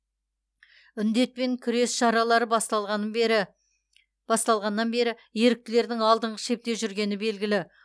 індетпен күрес шаралары басталғаны бері басталғаннан бері еріктілердің алдыңғы шепте жүргені белгілі